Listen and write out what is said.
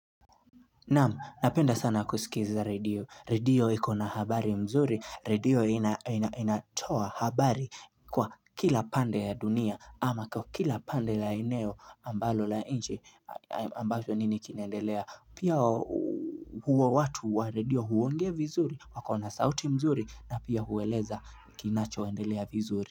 Namu napenda sana kusikiza redio redio ikona habari mzuri redio inatoa habari kwa kila pande ya dunia ama kwa kila pande la eneo ambalo la nci ambacho nini kinndelea pia huwa watu wa redio huongea vizuri wakona sauti mzuri na pia hueleza kinachoendelea vizuri.